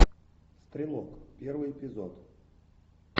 стрелок первый эпизод